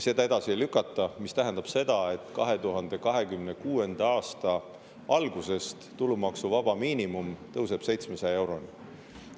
Seda edasi ei lükata, mis tähendab seda, et 2026. aasta algusest tulumaksuvaba miinimum tõuseb 700 euroni.